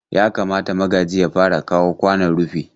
Yakamata Magaji ya fara kawo kwanon rufi.